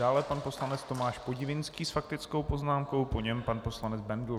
Dále pan poslanec Tomáš Podivínský s faktickou poznámkou, po něm pan poslanec Bendl.